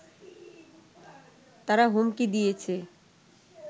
তারা হুমকি দিয়েছে